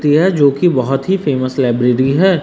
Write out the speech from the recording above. यह जोकि बहोत ही फेमस लाइब्रेरी है।